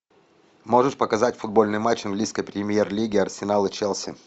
можешь показать футбольный матч английской премьер лиги арсенал и челси